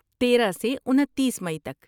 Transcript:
تیرہ سے انتیس مئی تک